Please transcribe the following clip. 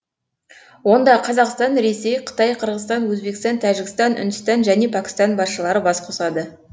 онда қазақстан ресей қытай қырғызстан өзбекстан тәжікстан үндістан және пәкістан басшылары бас қосады